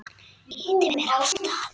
Ýtir mér af stað.